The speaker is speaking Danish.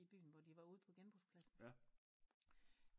I byen hvor de var ude på genbrugspladsen